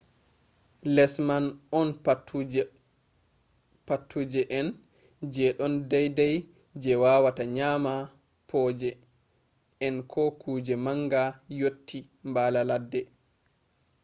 les man on paatuje en je ɗon daidai je wawata nyama boje en ko kuje manga yotti mbaala ladde